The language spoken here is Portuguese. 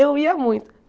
Eu ia muito.